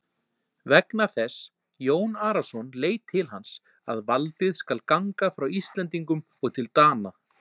Vegna þess, Jón Arason leit til hans,-að valdið skal ganga frá Íslendingum og til Dana.